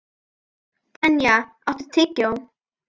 Tanya, áttu tyggjó?